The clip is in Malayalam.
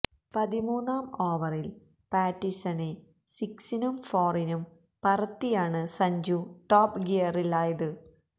പതിമൂന്നാം ഓവറില് പാറ്റിന്സണെ സിക്സിനും ഫോറിനും പറത്തിയാണ് സഞ്ജു ടോപ് ഗിയറിലായത്